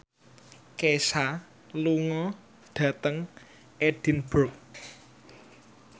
Kesha lunga dhateng Edinburgh